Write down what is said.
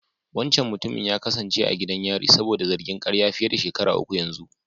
Wancan mutumin ya kasance a gidan yari saboda zargin ƙarya fiye da shekaru uku yanzu.